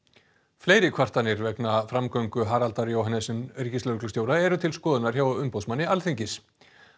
fleiri kvartanir vegna framgöngu Haraldar Jóhannesen ríkislögreglustjóra eru til skoðunar hjá umboðsmanni Alþingis